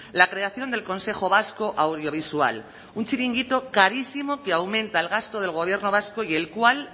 la creación del consejo vasco audiovisual un chiringuito carísimo que aumenta el gasto del gobierno vasco y el cual